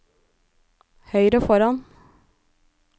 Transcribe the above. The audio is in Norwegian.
høyre foran